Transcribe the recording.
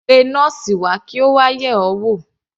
Pé nọ́ọ́sì wa kí Ó wà yẹ̀ ọ́ wò.